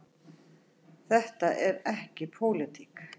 Þetta er ekki pólitík.